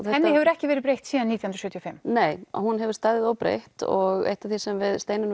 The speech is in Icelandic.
henni hefur ekki verið breytt síðan nítján sjötíu og fimm nei hún hefur staðið óbreytt og eitt af því sem við Steinunn